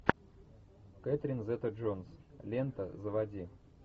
кэтрин зета джонс лента заводи